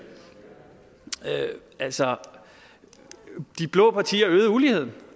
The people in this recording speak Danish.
altså de blå partier øgede uligheden